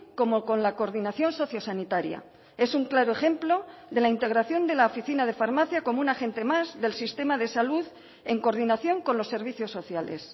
como con la coordinación sociosanitaria es un claro ejemplo de la integración de la oficina de farmacia como un agente más del sistema de salud en coordinación con los servicios sociales